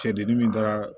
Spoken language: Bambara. Cɛdimi min taara